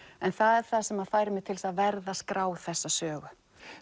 en það er það sem fær mig til að verða að skrá þessa sögu